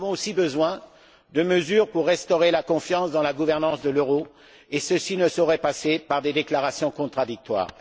Nous avons aussi besoin de mesures pour restaurer la confiance dans la gouvernance de l'euro et ceci ne saurait passer par des déclarations contradictoires.